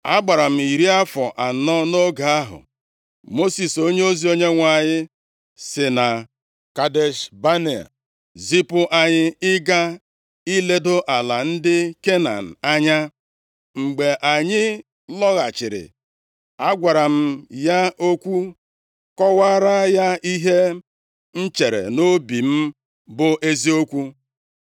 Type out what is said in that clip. Agbara m iri afọ anọ nʼoge ahụ Mosis onyeozi Onyenwe anyị si na Kadesh Banea zipụ anyị ịga iledo ala ndị Kenan anya. Mgbe anyị lọghachiri, agwara m ya okwu, kọwaara ya ihe m chere nʼobi m bụ eziokwu.